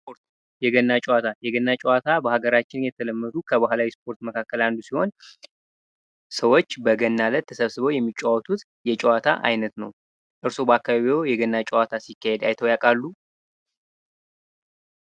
የገና ጨዋታ የገና ጨዋታ በሀገራችን ከተለመዱ የባህላዊ ስፖርት መካከል አንዱ ሲሆን ሰዎች በገና እለት ተሰብስበው የሚጫወቱት እየጨዋታ አይነት ነው። እርስዎ በአካባቢዎ የገና ጨዋታ ሲካሄድ አይቶ ያውቃሉ?